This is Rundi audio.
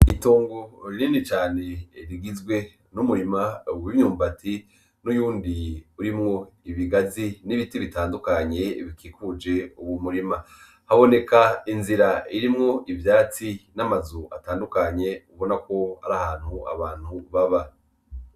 Itongo rinini cane rigizwe n'umurima w'imyumbati n'uyundi urimwo ibigazi n'ibiti bitandukanye n' ibindi bikikujwe uyo murima, haboneka inzira irimwo ivyatsi n'amazu atandukanye biboneka ko arahantu abantu baba.